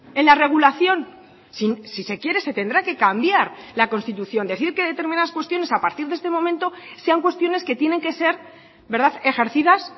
en la regulación si se quiere se tendrá que cambiar la constitución decir que determinadas cuestiones a partir de este momento sean cuestiones que tienen que ser ejercidas